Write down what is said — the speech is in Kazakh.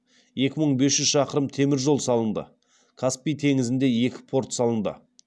екі мың бес жүз шақырым темір жол салынды каспий теңізінде екі порт салынды